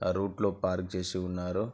ఆ రూట్ లో పార్క్ చేసి ఉన్నారు.